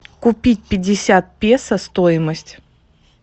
купить пятьдесят песо стоимость